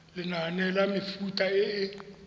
lenane la mefuta e e